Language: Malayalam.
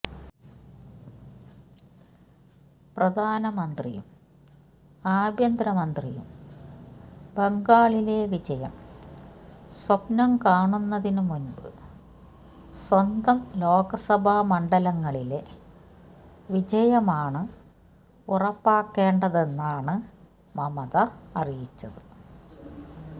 പ്രധാനമന്ത്രിയും ആഭ്യന്തര മന്ത്രിയും ബംഗാളിലെ വിജയം സ്വപ്നം കാണുന്നതിന് മുൻപ് സ്വന്തം ലോക്സഭാ മണ്ഡലങ്ങളിലെ വിജയമാണ് ഉറപ്പാക്കേണ്ടതെന്നാണ് മമത അറിയിച്ചത്